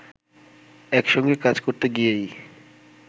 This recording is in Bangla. একসঙ্গে কাজ করতে গিয়েই